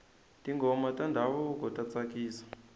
tinghoma ta ndhavuko ta tsakisa